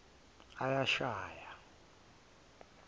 uyashaye